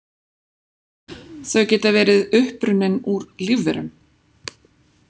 Þau geta verið upprunnin úr lífverum.